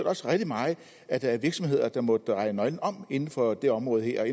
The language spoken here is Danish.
også rigtig meget at der er virksomheder der må dreje nøglen om inden for det område her